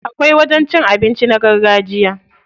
Akwai wajen cin abinci na gargajiya.